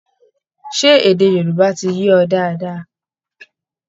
Ṣé èdè Yorùbá ti yé ọ dáadáa?